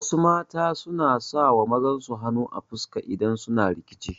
Wasu mata suna sawa mazan su hanu a fuska idan suna rikici